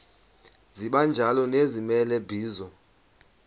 sibanjalo nezimela bizo